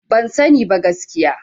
Ban sani ba gaskiya.